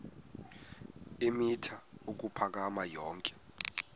eemitha ukuphakama yonke